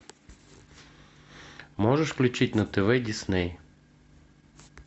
можешь включить на тв дисней